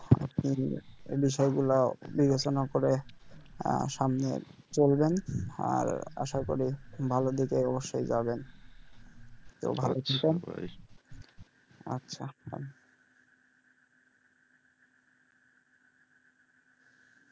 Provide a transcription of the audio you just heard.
এই বিষয় গুলা বিবেচনা করে আহ সামনে চলবেন আর আশা করি ভালো দিকে অবশ্ই যাবেন আচ্ছা।